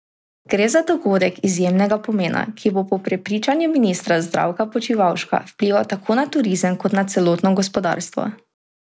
Gre za dogodek izjemnega pomena, ki bo po prepričanju ministra Zdravka Počivalška vplival tako na turizem kot na celotno gospodarstvo.